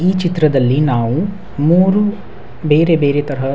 ಈ ಚಿತ್ರದಲ್ಲಿ ನಾವು ಮೂರು ಬೇರೆ ಬೇರೆ ತರಹ --